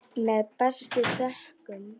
Með bestu þökkum.